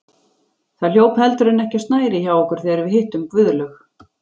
Það hljóp heldur en ekki á snærið hjá okkur þegar við hittum Guðlaug